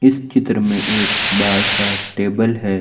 इस चित्र में एक बड़ा सा टेबल है।